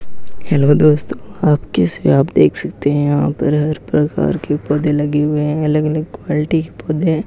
Hello दोस्तों आप कैसे हो आप देख सकते हैं यहां पर हर प्रकार के पौधे लगे हुए हैं अलग अलग क्वालिटी के पौधे हैं।